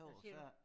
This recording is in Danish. Hvad siger du?